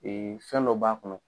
fɛn dɔ b'a kɔnɔ